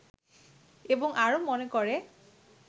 এবং আরো মনে করে